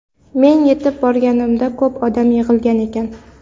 Men yetib borganimda ko‘p odam yig‘ilgan ekan.